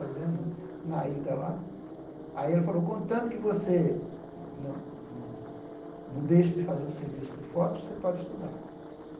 Fazendo né aí ele falou, contanto que você não não não deixe de fazer o serviço do foto, você pode estudar.